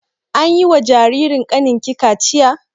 Anyi wa jaririn kanin ki kachiya?